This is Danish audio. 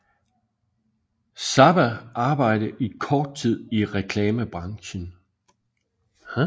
Zappa arbejde i kort tid i reklamebranchen